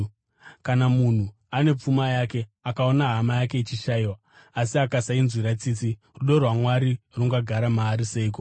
Kana munhu ane pfuma uye akaona hama yake ichishayiwa, asi akasainzwira tsitsi, rudo rwaMwari rungagara maari seiko?